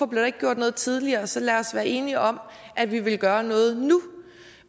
blev gjort noget tidligere så lad os være enige om at vi vil gøre noget nu